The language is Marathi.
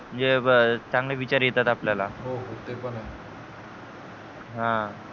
चांगले विचार येतात आपल्याला हो हो ते पण आहे अह